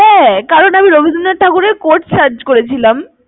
হ্যাঁ কারণ আমি রবীন্দ্রনাথ ঠাকুরের quote search করেছিলাম।